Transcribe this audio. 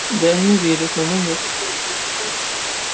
да они верят но мы нет